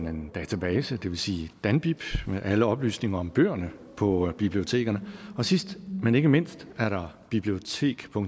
en database det vil sige danbib med alle oplysninger om bøgerne på bibliotekerne og sidst men ikke mindst er der bibliotekdk